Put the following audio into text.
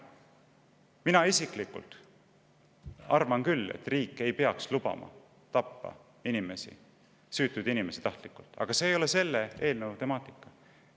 Mina isiklikult arvan küll, et riik ei peaks lubama tappa inimesi, süütuid inimesi tahtlikult, aga see ei ole selle eelnõu temaatika.